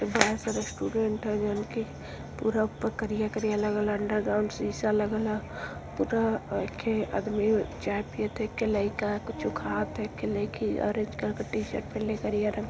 Student ह जवन कि पूरा ऊपर करिया- करिया लगल ह। अंडर ग्राउंड शीशा लगल ह। पूरा एक ठे आदमी चाय पियत ह एक लइका कुछ खात ह एक ठे लइकी ऑरेंज कलर का टीशर्ट पहीनले करिया रंग --